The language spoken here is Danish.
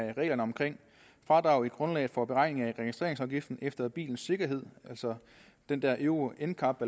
af reglerne om fradraget i grundlaget for beregning af registreringsafgift efter bilens sikkerhed altså den der euro ncap